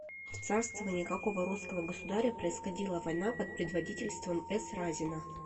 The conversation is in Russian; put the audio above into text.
в царствование какого русского государя происходила война под предводительством с разина